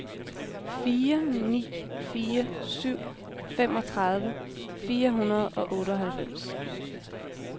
fire ni fire syv femogtredive fire hundrede og otteoghalvfems